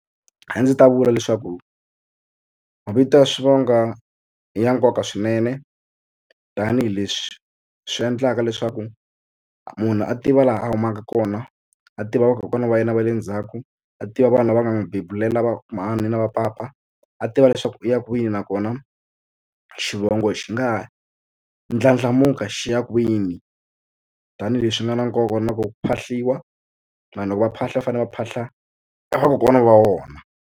A ndzi ta vula leswaku mavito ya swivongo i ya nkoka swinene tanihileswi swi endlaka leswaku munhu a tiva laha a humaka kona a tiva vakokwana va yena va le ndzhaku a tiva vanhu lava nga na bebuleni lava mhani na vapapa a tiva leswaku u ya kwini nakona xivongo xi nga ha ndlandlamuka xi ya kwini tanihileswi nga na nkoka na ku phahliwa vanhu loko va phahla va fanele va phahla vakokwana va vona.